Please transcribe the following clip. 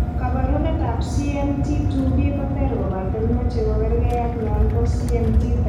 Koporunetap CMT2B koter koptaen moche ko kerge ag non po CMT type 1.